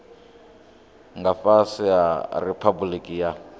nga fhasi ha riphabuliki ya